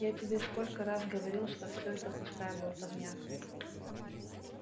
я тебе сколько раз говорил что это всё пустая болтовня